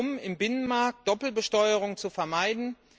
Es geht darum, im Binnenmarkt Doppelbesteuerung zu vermeiden.